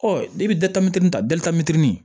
ta